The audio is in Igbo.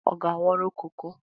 Ọ ga-aghọrọ koko?